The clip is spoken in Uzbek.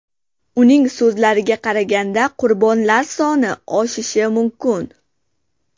Uning so‘zlariga qaraganda, qurbonlar soni oshishi mumkin.